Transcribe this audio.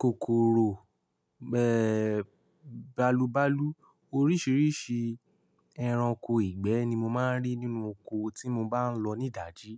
kòkòrò be balúbalú. Oríṣìíríṣìí ẹranko ìgbẹ́ ni mo máa ń rí nínú oko tí mo bá ń lọ ní ìdájí.